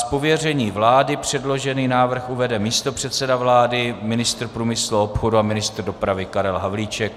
Z pověření vlády předložený návrh uvede místopředseda vlády, ministr průmyslu a obchodu a ministr dopravy Karel Havlíček.